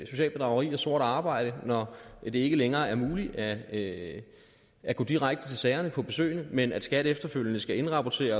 socialt bedrageri og sort arbejde når det ikke længere er muligt at at gå direkte til sagerne på besøgene men skat efterfølgende skal indrapportere